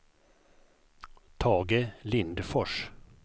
Tage Lindfors